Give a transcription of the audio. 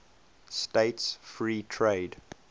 states free trade